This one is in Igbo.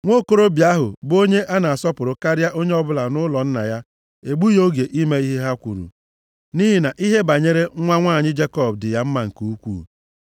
Nwokorobịa ahụ bụ onye a na-asọpụrụ karịa onye ọbụla nʼụlọ nna ya egbughị oge ime ihe ha kwuru, nʼihi na ihe banyere nwa nwanyị Jekọb dị ya mma nke ukwuu.